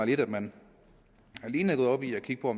lidt at man alene er gået op i at kigge på